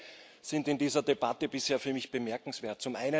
Zwei Dinge sind in dieser Debatte bisher für mich bemerkenswert.